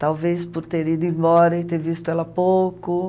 Talvez por ter ido embora e ter visto ela pouco.